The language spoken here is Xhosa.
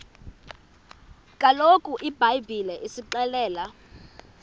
kaloku ibhayibhile isixelela